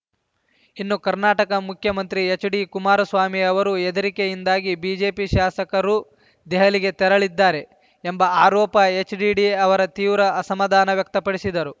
ಇನ್ನು ಕರ್ನಾಟಕ ಮುಖ್ಯಮಂತ್ರಿ ಎಚ್‌ಡಿ ಕುಮಾರಸ್ವಾಮಿ ಅವರು ಹೆದರಿಕೆಯಿಂದಾಗಿ ಬಿಜೆಪಿ ಶಾಸಕರು ದೆಹಲಿಗೆ ತೆರಳಿದ್ದಾರೆ ಎಂಬ ಆರೋಪ ಎಚ್‌ಡಿಡಿ ಅವರು ತೀವ್ರ ಅಸಮಾಧಾನ ವ್ಯಕ್ತಪಡಿಸಿದರು